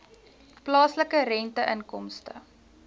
plaaslike rente inkomste